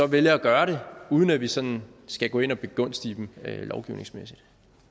vælger at gøre det uden at vi sådan skal gå ind og begunstige dem lovgivningsmæssigt